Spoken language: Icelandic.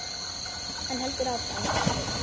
Hann heldur áfram.